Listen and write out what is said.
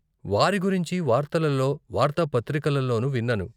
వారి గురించి వార్తలలో, వార్తాపత్రికలలోనూ విన్నాను.